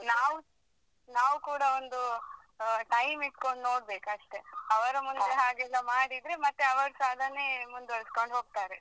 ನಾವ್~ ನವ್ಕೂಡ ಒಂದು ಅಹ್ time ಇಡ್ಕೊಂಡು ನೋಡ್ಬೇಕ್ ಅಷ್ಟೇ ಅವರ ಮುಂದೆ ಅವರ ಮುಂದೆ ಹಾಗೆಲ್ಲ ಮಾಡಿದ್ರೆ ಮತ್ತೆ ಅವರ್ಸಾ ಅದನ್ನೇ ಮುಂದುವರಿಸ್ಕೊಂಡು ಹೋಗ್ತಾರೆ.